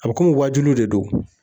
A bɛ kɔmi waajuli de don